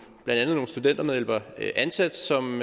studentermedhjælpere ansat som